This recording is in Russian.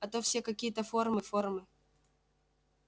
а то все какие-то формы формы